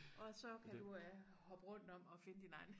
Og så kan du øh hoppe rundt om og finde din egen